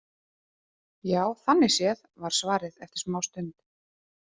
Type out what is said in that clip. Já, þannig séð, var svarið eftir smástund.